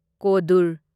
ꯀꯣꯗꯨꯔ